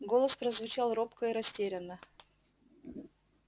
голос прозвучал робко и растерянно